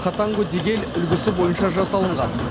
хатангу дегель үлгісі бойынша жасалынған